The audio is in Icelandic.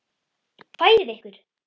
Færið ykkur!